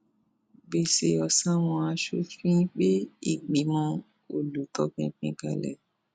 gbèsè ọsàwọn asòfin gbé ìgbìmọ olùtọpinpin kalẹ